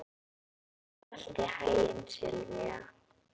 Gangi þér allt í haginn, Silvía.